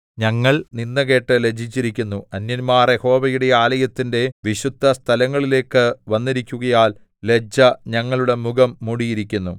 ഞങ്ങൾ നിന്ദ കേട്ട് ലജ്ജിച്ചിരിക്കുന്നു അന്യന്മാർ യഹോവയുടെ ആലയത്തിന്റെ വിശുദ്ധസ്ഥലങ്ങളിലേക്കു വന്നിരിക്കുകയാൽ ലജ്ജ ഞങ്ങളുടെ മുഖം മൂടിയിരിക്കുന്നു